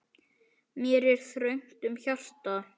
Mér er þröngt um hjarta.